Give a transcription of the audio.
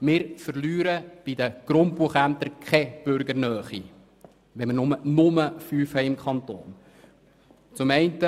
Wir verlieren bei den Grundbuchämtern keine Bürgernähe, wenn wir nur fünf im Kanton haben.